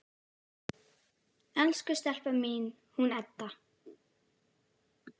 Elsku stelpan mín, hún Edda!